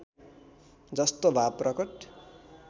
जस्तो भाव प्रकट